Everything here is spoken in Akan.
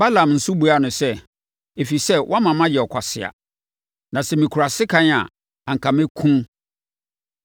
Balaam nso buaa no sɛ, “Ɛfiri sɛ, woama masɛ ɔkwasea. Na sɛ mekura sekan a, anka mɛkum wo.”